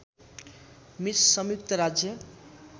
miss संयुक्त राज्य